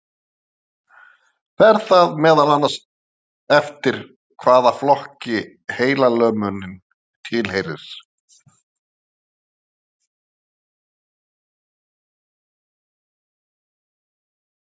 Fer það meðal annars eftir hvaða flokki heilalömunin tilheyrir.